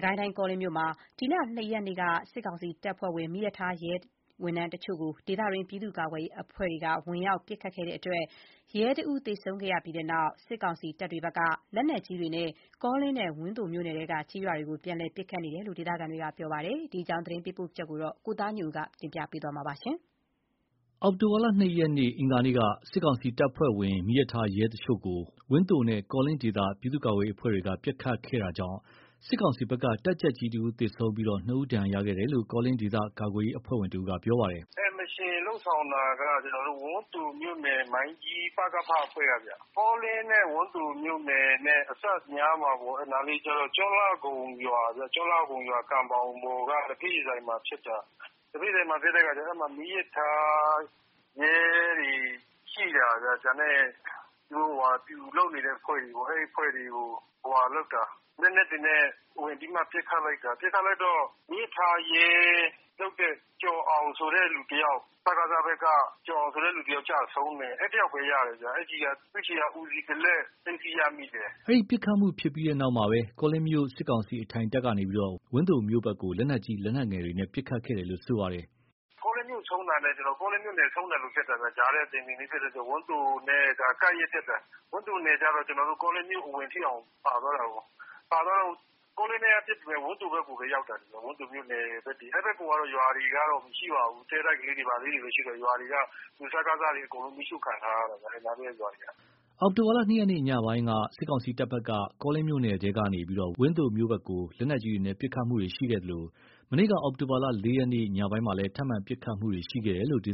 ကိုင်းတိုင်း ကောလင်းမြို့မှာ အောက်တိုဘာ ၂ ရက်က စစ်ကောင်စီတပ်ဖွဲ့ဝင် မီးရထားရဲတချို့ကို ဒေသတွင်း ပြည်သူ့ကာကွယ်ရေးအဖွဲ့က ဝင်ရောက်ပစ်ခတ်ခဲ့တဲ့အတွက် ရဲတဦးသေဆုံးခဲ့ရတဲ့နောက် စစ်ကောင်စီတပ်တွေဘက်က လက်နက်ကြီးတွေနဲ့ ကောလင်းနဲ့ဝန်းသိုမြို့နယ်ထဲကကျေးရွာတွေကို ပြန်လည်ပစ်ခတ်နေတယ်လို့ ဒေသခံတွေက ပြောပါတယ်။ ဒီအကြောင်းသတင်းပေးပို့ချက် ကိုသားညွန့်ဦးက တင်ပြပေးထားပါတယ်။ အောက်တိုဘာ ၂ ရက် အင်္ဂါနေ့က စစ်ကောင်စီတပ်ဖွဲ့ဝင် မီးရထားရဲတချို့ကို ဝန်းသိုနဲ့ ကောလင်းဒေသ ပြည်သူ့ကာကွယ်ရေးအဖွဲ့တွေက ပစ်ခတ်ခဲ့တာကြောင့် စစ်ကောင်စီဘက်က တပ်ကြပ်ကြီးတဦးသေဆုံးခဲ့ပြီး ၂ ဦး ဒဏ်ရာရခဲ့တယ်လို့ ကောလင်းဒေသကာကွယ်ရေး အဖွဲ့ဝင်တဦးက ပြောပါတယ်။ “အဲ့ဒီ mission လုပ်ဆောင်တာက ဝန်းသိုမြို့နယ် မိုင်းကြီး ပကဖ အဖွဲ့ကဗျ။ ကောလင်းနဲ့ ဝန်းသိုမြို့နယ်နဲ့အစပ်ပေါ့ အဲ့နားက ကျွန်းလှခုံရွာ ကန်ဘောင်ပေါ်က လက်ဖက်ရည်ဆိုင်မှာဖြစ်တာ။ အဲ့မှာက မီးရထားရဲတွေရှိတာရော၊ နောက်ပျူလုပ်နေတဲ့အဖွဲ့တွေပေါ့၊ အဲ့ဒီအဖွဲ့တွေကို လက်နက်တွေနဲ့ဝင်ပြီးမှ ပစ်ခတ်လိုက်တာ။ ပစ်လိုက်တော့ မီးရထားရဲလုပ်နေတဲ့ စကစဘက်က ကျော်အောင်ဆိုတဲ့ တယောက်ပဲကျတယ်ဗျ။ အဲ့တယောက်ပဲ ရတယ်။ သူ့ဆီက သေနတ်တလက် သိမ်းဆည်းရတယ်။” အဲ့ဒီပစ်ခတ်မှုပြီးတဲ့နောက် ကောလင်းမြို့ စစ်ကောင်စီအထိုင်တပ်ကနေ ဝန်းသိုမြို့ဘက်ကို လက်နက်ကြီး လက်နက်ငယ်တွေနဲ့ ပစ်ခတ်ခဲ့တယ်လို့ ပြောပါတယ်။ “ကောလင်းက ကောလင်းမြို့ ဆုံးတာနဲ့ အဆုံးပဲ။ ဝန်းသိုနဲ့က ကပ်ရက်ဖြစ်နေတာ။ ဝန်းသိုက ကောလင်းမြို့အဝင်ထိတောင်ပါသွားတာကော။ အဲ့တော့ ကောလင်းထဲကပစ်ပေမယ့် ဝန်းသိုထဲကိုပဲရောက်သွားတာ။ ပစ်တာတွေက ဝန်းသိုမြို့နယ်ထဲကိုပဲ ရောက်တာ။ အဲ့ဘက်မှာက ရွာတွေဘာတွေက မရှိတော့ပါဘူး။ တဲတိုက်လေးတွေဘာလေးတွေပဲရှိတော့တယ်။ ရွာတွေက စစ်ကောင်စီက အကုန်မီးရှို့ခံထားရတာဗျ။ အဲ့နားလေးက ရွာတွေက။” အောက်တိုဘာ ၂ ရက်နေ့ ညပိုင်းက စစ်ကောင်စီတပ်ဘက်က ကောလင်းမြို့နယ်ထဲကနေ ဝန်းသိုမြို့ဘက်ကို လက်နက်ကြီးတွေနဲ့ ပစ်ခတ်မှုတွေရှိခဲ့သလို မနေ့က အောက်တိုဘာ ၄ ရက်နေ့ ညပိုင်းကလည်း ထပ်မံ ပစ်ခတ်မှုတွေ ရှိခဲ့တယ်လို့ ဒေ